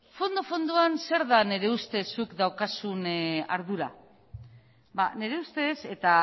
fondo fondoan zer da nire ustez zuk daukazun ardura ba nire ustez eta